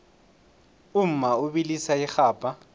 umma ubilisa irhabha